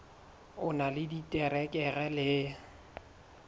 o na le diterekere le